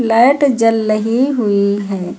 Light जल लही हुई है।